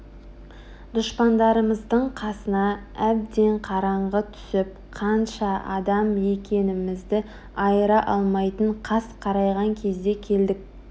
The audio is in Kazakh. дұшпандарымыздың қасына әбден қараңғы түсіп қанша адам екенімізді айыра алмайтын қас қарайған кезде келдік